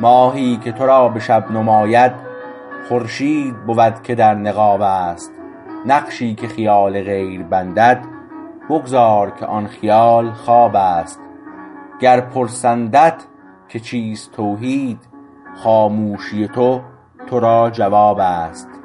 ماهی که تو را به شب نماید خورشید بود که در نقاب است نقشی که خیال غیر بندد بگذار که آن خیال خواب است گر پرسندت که چیست توحید خاموشی تو تو را جواب است